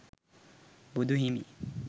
බුදු හිමි